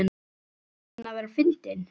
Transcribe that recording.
Ertu að reyna að vera fyndin?